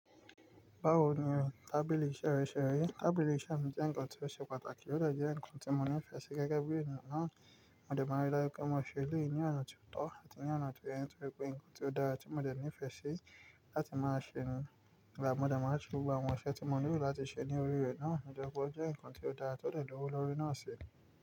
Báwo ni o? Tábìlì iṣẹ́ rẹ ṣẹrẹ. Tábìlì iṣẹ́ mi jẹ́ nnkan tó ṣe pàtàkì ó de je nnkan tí mo nífẹ̀ẹ́ sí gẹ́gẹ́ bí ènìyàn náà. Mo dẹ̀ maa ri daju pé máa ṣe eleyii ní ọ̀nà ti o tọ̀ àti ní ọ̀nà tó yẹ nítori pe ohun tó dára tí mo dẹ̀ nífẹ̀ẹ́ sí ni láti máa ṣe nǹkan. Mo dẹ̀ maa n se gbogbo àwọn iṣẹ tí mo nílò láti ṣe ní orí rẹ̀ náà. Tori pe jẹ́ nǹkan tó dára tó lè dúró lórí náà ṣi.